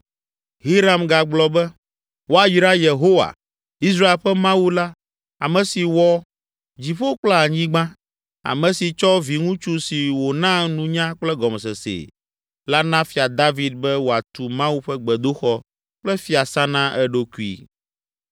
Hiram gagblɔ be, “Woayra Yehowa, Israel ƒe Mawu la, ame si wɔ dziƒo kple anyigba, ame si tsɔ viŋutsu si wòna nunya kple gɔmesesee la na Fia David be wòatu Mawu ƒe gbedoxɔ kple fiasã na eɖokui.